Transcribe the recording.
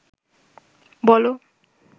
বল